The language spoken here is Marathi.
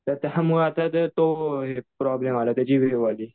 तर त्यामुळे आता तो त्याची व्हिडीओ आली.